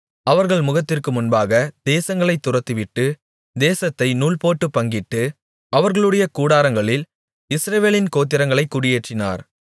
அவர்கள் முகத்திற்கு முன்பாக தேசங்களைத் துரத்திவிட்டு தேசத்தை நூல்போட்டுப் பங்கிட்டு அவர்களுடைய கூடாரங்களில் இஸ்ரவேலின் கோத்திரங்களைக் குடியேற்றினார்